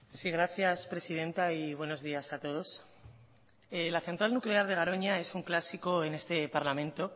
sí gracias presidenta y buenos días a todos la central nuclear de garoña es un clásico en este parlamento